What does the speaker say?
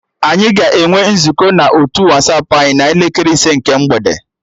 Anyị ga-enwe nzukọ na otu Wasapụ anyị n'elekere ise nke mgbede